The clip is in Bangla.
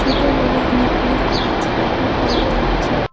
দুটো বনে অনেকগুলি গাছ লক্ষ্য করা যাচ্ছে।